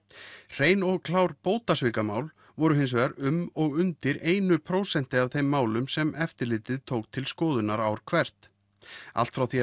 hrein og klár bótasvikamál voru hins vegar um og undir einu prósenti af þeim málum sem eftirlitið tók til skoðunar ár hvert allt frá því